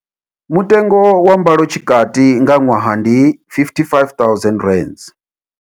Mutengo wa mbalo tshikati nga ṅwaha ndi R55 000.